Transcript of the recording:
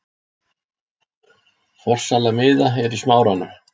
Forsala miða er í Smáranum.